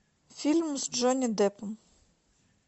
фильм с джонни деппом